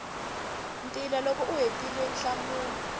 ntila loko u hetile nhlamulo